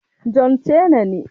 John Cena ne.